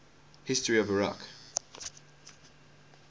history of iraq